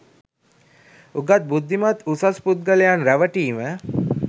උගත් බුද්ධිමත් උසස් පුද්ගලයන් රැවටීම